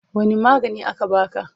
Wanne magani aka baka?